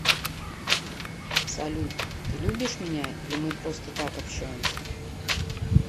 салют ты любишь меня или мы просто так общаемся